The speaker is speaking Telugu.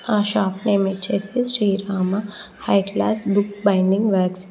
ఆ షాప్ పేరు వచ్చేసి Srirama high class books binding .